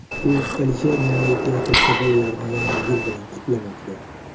U Alisher Navoiy teatrida bolalarni Yangi yil bilan qutlamoqda.